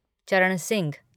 चरण सिंह